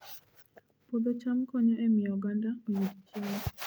Puodho cham konyo e miyo oganda oyud chiemo